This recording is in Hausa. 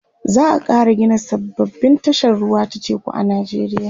za'a Kara Gina sababbin tashar ruwa ta teku a nijeriya